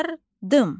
Yardım.